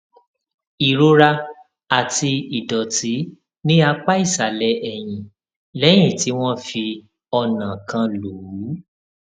ìrora àti ìdòtí ní apá ìsàlè ẹyìn léyìn tí wón fi ọnà kan lù ú